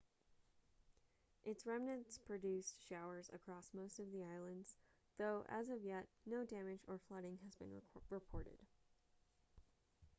its remnants produced showers across most of the islands though as of yet no damage or flooding has been reported